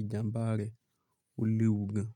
ìjàmbá rẹ̀ ó léwu gan.